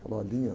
Falou a linha.